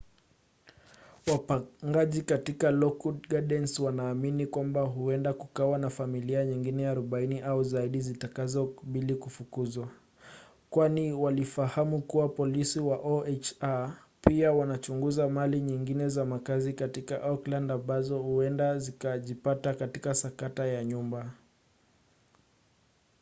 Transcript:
wapangaji katika lockwood gardens wanaamini kwamba huenda kukawa na familia nyingine 40 au zaidi zitakazokabili kufukuzwa kwani walifahamu kuwa polisi wa oha pia wanachunguza mali nyingine za makazi katika oakland ambazo huenda zikajipata katika sakata ya nyumba